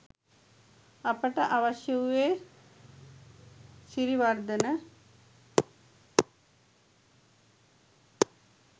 අපට අවශ්‍ය වූයේ සිරිවර්ධන